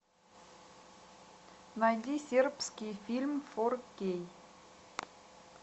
найди сербский фильм фор кей